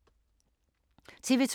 TV 2